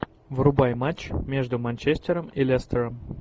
врубай матч между манчестером и лестером